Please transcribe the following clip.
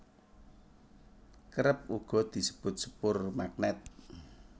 Kerep uga disebut sepur magnèt